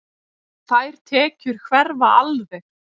Þær tekjur hverfa alveg.